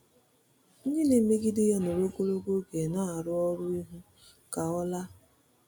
Ndị na-emegide ya nọrọ ogologo oge na-arụ ọrụ ịhụ ka ọ ọ laa.